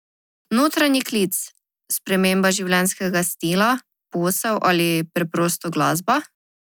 Notranji klic, sprememba življenjskega stila, posel ali preprosto glasba?